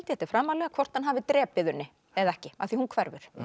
þetta er framarlega hvort hann hafi drepið Unni eða ekki af því hún hverfur